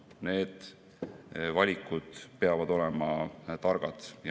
Need valikud peavad olema targad.